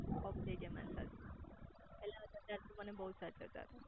of થઇ ગયા મારી સાસુ પેલા હતા ત્યારે તો મને બહુજ સાચવ તા તા